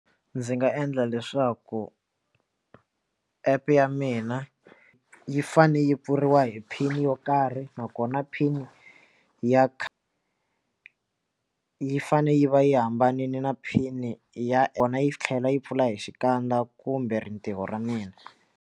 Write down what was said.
Ndzi nga endla leswaku app ya mina yi fane yi pfuriwa hi pin yo karhi nakona pin ya khale yi fane yi va yi hambanile na phini ya wena yi tlhela yi pfula hi xikandza kumbe rintiwo ra mina.